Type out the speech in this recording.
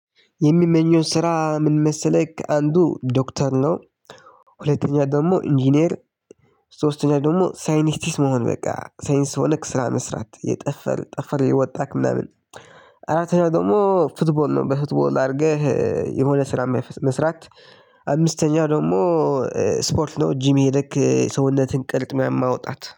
የምመኘው ስራ ምን መሰለህ ከአንዱ ዶክተር ነው። ሁለተኛ ደግሞ ኢንጂነር። ሶስተኛ ላይ ደግሞ ሳይንቲስት መሆን በቃ ሳይንስ ሆነህ ስራ መስራት የጠፈር ጠፈር እየወጣህ ምናምን። አራተኛው ደግሞ ፉትቦል ነው በፉትቦል አድርገህ የሆነ ስራ መስራት። አምስተኛው ደግሞ ስፖርት ነው ጂም ልክ ሰውነትን ቅርጽ ምናምን ማውጣት